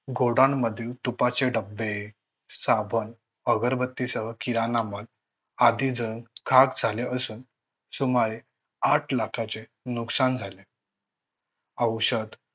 Godown मधील तुपाचे डबे, साबण, अगरबत्तीसह किराणा माल आगीत खाक झाले असून सुमारे आठ लाखाचे नुकसान झाले. औषध